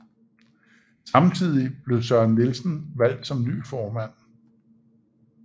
Samtidig blev Søren Nielsen valgt som ny formand